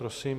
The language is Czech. Prosím.